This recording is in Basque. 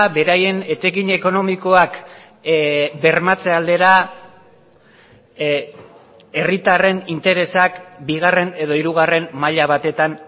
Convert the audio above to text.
beraien etekin ekonomikoak bermatze aldera herritarren interesak bigarren edo hirugarren maila batetan